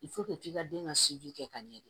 k'i ka den ka siji kɛ ka ɲɛ de